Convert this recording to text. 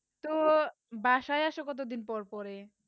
তো বাসায় আসো কত দিন পর পড়ে